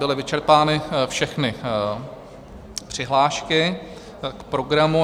Byly vyčerpány všechny přihlášky k programu.